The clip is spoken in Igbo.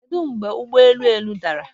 Kedụ mgbe ụgbọ elu ụnụ dara?